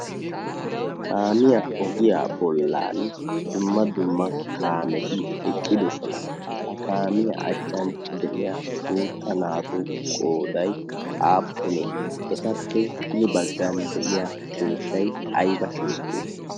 Kaamiya ogiya bollan dumma dumma kaameti eqqidoosona. Ha kaamiyaa achchan de'iyaa guutta naatu qooday aappune? Etappe hini baggan de'iyaa keettay aybba keette?